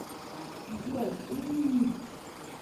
джой ыыыыы